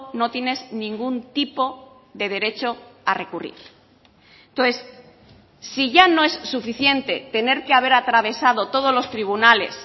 no tienes ningún tipo de derecho a recurrir entonces si ya no es suficiente tener que haber atravesado todos los tribunales